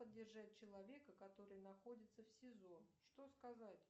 поддержать человека который находится в сизо что сказать